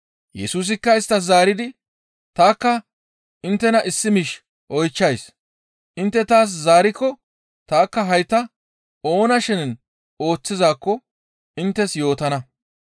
Yesusikka isttas zaaridi, «Tanikka inttena issi miish oychchays; intte taas zaarikko tanikka hayta oona shenen ooththizaakko inttes yootana.